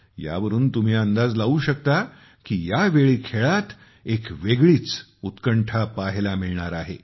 यावरून तुम्ही अंदाज लावू शकता की यावेळी खेळात एक वेगळीच उत्कंठा पाहायला मिळणार आहे